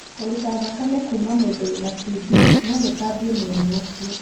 Kũruta thakame kuma mũndu wina TB no gũtambie mũrimũ ũcio.